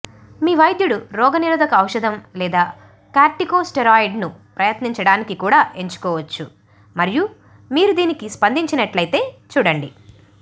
మీ వైద్యుడు రోగనిరోధక ఔషధం లేదా కార్టికోస్టెరాయిడ్ను ప్రయత్నించడానికి కూడా ఎంచుకోవచ్చు మరియు మీరు దీనికి స్పందించినట్లయితే చూడండి